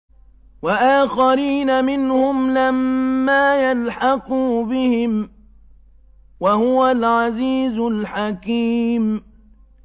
وَآخَرِينَ مِنْهُمْ لَمَّا يَلْحَقُوا بِهِمْ ۚ وَهُوَ الْعَزِيزُ الْحَكِيمُ